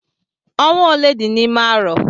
Ọnwa ole dị n'ime arọ?